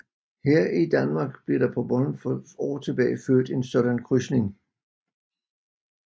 Her i Danmark blev der på Bornholm for år tilbage født en sådan krydsning